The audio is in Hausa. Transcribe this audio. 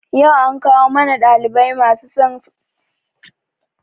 yau an kawo mana ɗalibai masu son sanin makaman aiki gidan talabijin.